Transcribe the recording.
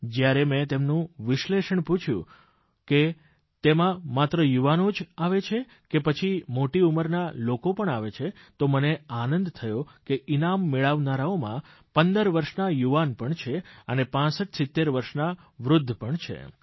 જયારે મેં તેનું વિશ્લેષણ પૂછયું કે તેમાં માત્ર યુવાનો જ આવે છે કે પછી મોટી ઉંમરના લોકો પણ આવે છે તો મને આનંદ થયો કે ઇનામ મેળવનારાઓમાં 15 વર્ષના યુવાન પણ છે અને પાંસઠ સિત્તેર વર્ષના વૃદ્ધ પણ છે